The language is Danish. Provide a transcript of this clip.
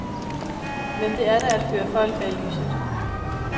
Men det er da at føre folk bag lyset.